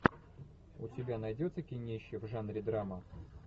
у тебя найдется кинище в жанре драма